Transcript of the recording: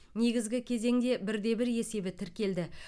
негізгі кезеңде бір де бір есебі тіркелді